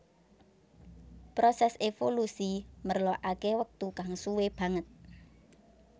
Prosès évolusi merlokaké wektu kang suwé banget